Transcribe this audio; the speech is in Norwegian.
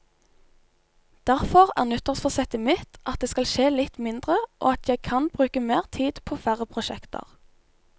Derfor er nyttårsforsettet mitt at det skal skje litt mindre, og at jeg kan bruke mer tid på færre prosjekter.